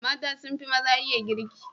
Mata sun fi maza iya girki.